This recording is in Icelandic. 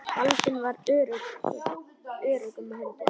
Baldvin var í öruggum höndum.